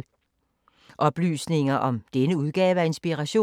Oplysninger om denne udgave af Inspiration